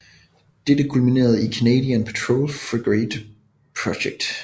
Dette kulminerede i Canadian Patrol Frigate Project